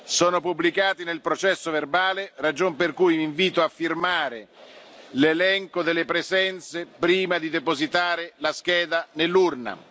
segreto sono pubblicati nel processo verbale, ragion per cui vi invito a firmare l'elenco di presenza prima di depositare la scheda